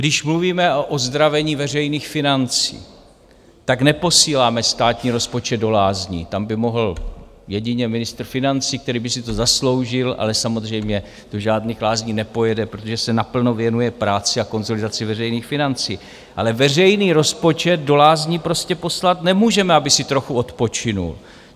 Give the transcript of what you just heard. Když mluvíme o ozdravení veřejných financí, tak neposíláme státní rozpočet do lázní, tam by mohl jedině ministr financí, který by si to zasloužil, ale samozřejmě do žádných lázní nepojede, protože se naplno věnuje práci a konsolidaci veřejných financí, ale veřejný rozpočet do lázní prostě poslat nemůžeme, aby si trochu odpočinul.